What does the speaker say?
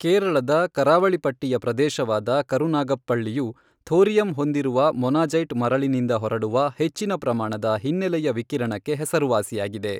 ಕೇರಳದ ಕರಾವಳಿ ಪಟ್ಟಿಯ ಪ್ರದೇಶವಾದ ಕರುನಾಗಪ್ಪಳ್ಳಿಯು, ಥೋರಿಯಂ ಹೊಂದಿದ ಮೊನಾಜೈಟ್ ಮರಳಿನಿಂದ ಹೊರಡುವ ಹೆಚ್ಚಿನ ಪ್ರಮಾಣದ ಹಿನ್ನೆಲೆಯ ವಿಕಿರಣಕ್ಕೆ ಹೆಸರುವಾಸಿಯಾಗಿದೆ.